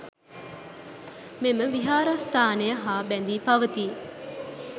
මෙම විහාරස්ථානය හා බැඳී පවතී.